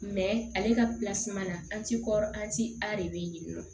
ale ka na an ti kɔrɔ an ti a de be yen nɔ